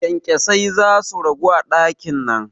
Kyankyasai zasu ragu a ɗakin nan